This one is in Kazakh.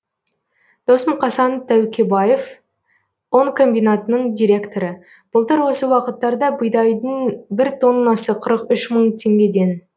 дос мұқасан тәукебаев ұн комбинатының директоры былтыр осы уақыттарда бидайдың бір тоннасы қырық үш мың теңгеден